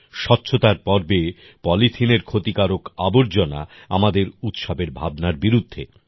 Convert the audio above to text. স্বচ্ছতার পর্বে পলিথিনের ক্ষতিকারক আবর্জনা আমাদের উৎসবের ভাবনার বিরুদ্ধে